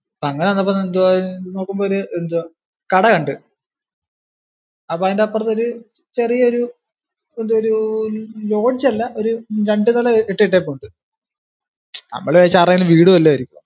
അപ്പൊ അങ്ങനെ വന്നപ്പോ എന്തുവാ നോക്കുമ്പോ എന്തുവാ ഒരു കട കണ്ടു അപ്പൊ അതിന്റെ അപ്പുറത്തൊരു ചെറിയ ഒരു lodge അല്ല ഒരു രണ്ടു നില കെട്ടിയിട്ടുണ്ട്, നമ്മള് വിചാരിച്ചു ആരുടെയെങ്കിലും വീട് വല്ലതും ആയിരിക്കും എന്ന്